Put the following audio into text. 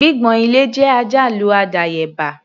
Gbígbọ̀n ilẹ̀ jẹ́ àjálù àdáyébá.